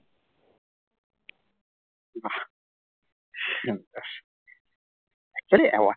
actually award